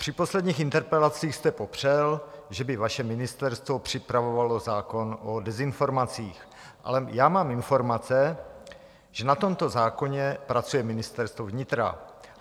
Při posledních interpelacích jste popřel, že by vaše ministerstvo připravovalo zákon o dezinformacích, ale já mám informace, že na tomto zákoně pracuje Ministerstvo vnitra.